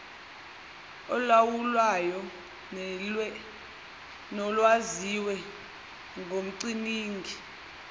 olawulwayo nolwaziwe ngumcwaningi